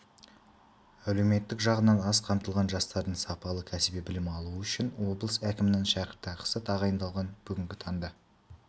әлеуметтік жағынан аз қамтылған жастардың сапалы кәсіби білім алуы үшін облыс әкімінің шәкіртақысы тағайындалған бүгінгі таңда